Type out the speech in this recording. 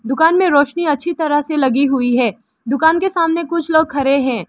दुकान में रोशनी अच्छी तरह से लगी हुई है दुकान के सामने कुछ लोग खड़े हैं।